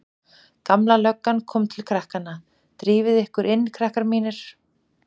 Gamla löggan kom til krakkanna: Drífið þið ykkur inn krakkar mínir.